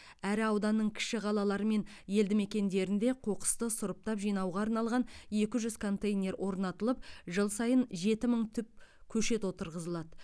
әрі ауданның кіші қалалары мен елді мекендерінде қоқысты сұрыптап жинауға арналған екі жүз контейнер орнатылып жыл сайын жеті мың түп көшет отырғызылады